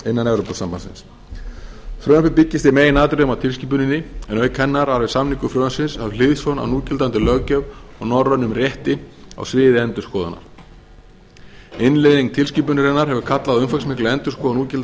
innan evrópusambandsins frumvarpið byggist í meginatriðum á tilskipuninni en auk hennar var við samningu frumvarpsins höfð hliðsjón af núgildandi löggjöf og norrænum rétti á sviði endurskoðunar innleiðing tilskipunarinnar hefur kallað á umfangsmikla endurskoðun